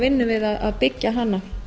vinnu við að byggja hana